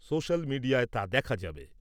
Social মিডিয়ায় তা দেখা যাবে।